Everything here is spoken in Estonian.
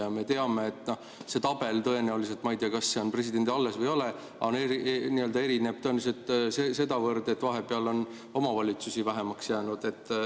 Ma ei tea, kas see tabel on presidendil alles või ei ole, aga see erineb tõenäoliselt selle võrra, et vahepeal on omavalitsusi vähemaks jäänud.